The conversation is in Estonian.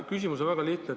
Küsimus on väga lihtne.